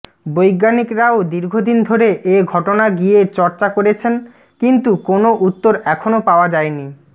বৈজ্ঞানিকরাও দীর্ঘদিন ধরে এঘটনা গিয়ে চর্চা করেছেন কিন্তু কোনও উত্তর এখনও পাওয়া যায় নি